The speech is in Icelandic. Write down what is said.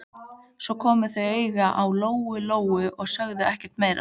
Svo komu þau auga á Lóu-Lóu og sögðu ekkert meira.